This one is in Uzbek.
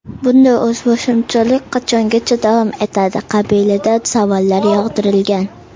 Bunday o‘zboshimchalik qachongacha davom etadi qabilida savollar yog‘dirilgan.